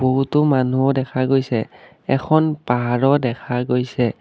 বহুতো মানুহো দেখা গৈছে এখন পাহাৰো দেখা গৈছে।